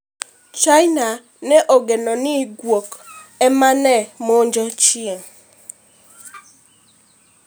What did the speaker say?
China ne ogeno n guok ema ne monjo chieng'